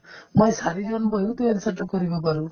মই চাৰিজন বহিওতো answer তো কৰিব পাৰো